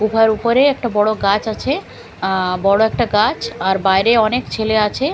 গুফার উপরে একটা বড়ো গাছ আছে বড়ো একটা গাছ আর বাইরে অনেক ছেলে আছে ।